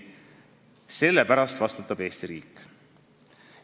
Selle pärast vastutab Eesti riik.